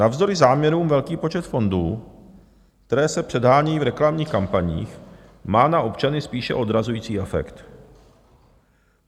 Navzdory záměrům velký počet fondů, které se předhánějí v reklamních kampaních, má na občany spíše odrazující efekt.